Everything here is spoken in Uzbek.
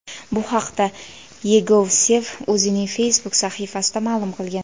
Bu haqda Yegovsev o‘zining Facebook sahifasida ma’lum qilgan .